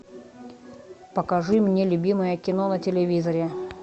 покажи мне любимое кино на телевизоре